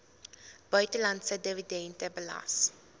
buitelandse dividende belas